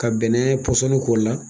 Ka bɛnɛ pɔsɔni k'o la.